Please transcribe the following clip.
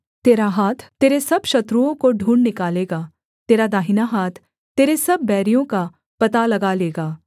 तेरा हाथ तेरे सब शत्रुओं को ढूँढ़ निकालेगा तेरा दाहिना हाथ तेरे सब बैरियों का पता लगा लेगा